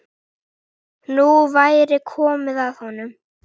Nú væri komið að honum.